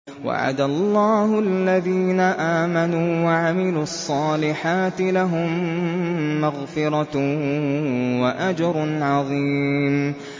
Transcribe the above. وَعَدَ اللَّهُ الَّذِينَ آمَنُوا وَعَمِلُوا الصَّالِحَاتِ ۙ لَهُم مَّغْفِرَةٌ وَأَجْرٌ عَظِيمٌ